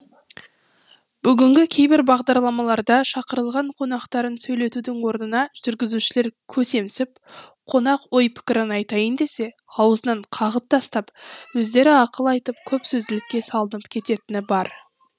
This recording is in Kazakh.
бүгінгі кейбір бағдарламаларда шақырылған қонақтарын сөйлетудің орнына жүргізушілер көсемсіп қонақ ой пікірін айтайын десе аузынан қағып тастап өздері ақыл айтып көп сөзділікке салынып кететіні бар